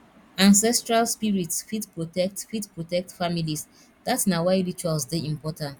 ancestral spirits fit protect fit protect families dat na why rituals dey important